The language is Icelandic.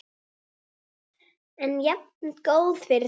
En jafngóð fyrir því!